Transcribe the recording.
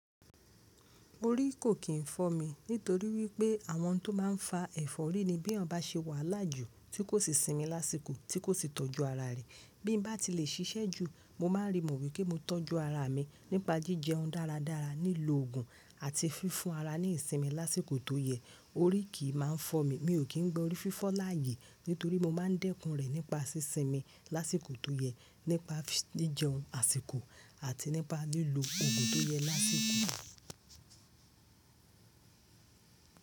Orí kò kín fọ́ mi nítorí wípé àwọn tó máa ń fa ẹ̀fọ́rí ni bí ọba ṣe wàhala jú, tí kò sì sinmi lásìkò, tí kò sì tọ́jú ara rẹ̀. Bí n bá ti lè ṣiṣẹ́ jù, mo máa rí mọ̀ wípé mo tọ́jú ara mi nípa jíjẹ ohun dáradára, lílo òògùn àti fífún ara ní ìsinmi lásìkò tó yẹ. Orí kì í máa ń fọ́ mi, mi ò kí ń gbọ́ orí fífọ́ láàyè nítorí mo máa ń dẹ́kun rẹ̀ nípa sí sinmi lásìkò tó yẹ, nípa jí jẹun àsìkò àti nípa lílo òògùn tó yẹ lásìkò.